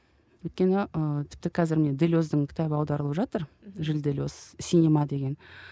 өйткені ыыы тіпті қазір міне делездің кітабы аударылып жатыр жиль делез синема деген